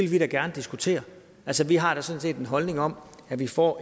vi da gerne diskutere altså vi har da sådan set en holdning om at vi får